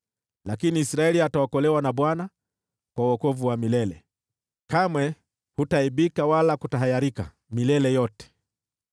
Lakini Israeli ataokolewa na Bwana kwa wokovu wa milele; kamwe hutaaibika wala kutatahayarika, milele yote.